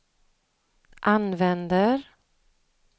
använder